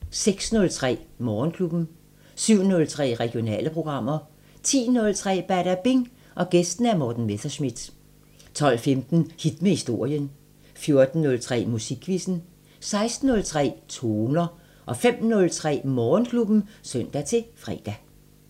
06:03: Morgenklubben 07:03: Regionale programmer 10:03: Badabing: Gæst Morten Messerschmidt 12:15: Hit med historien 14:03: Musikquizzen 16:03: Toner 05:03: Morgenklubben (søn-fre)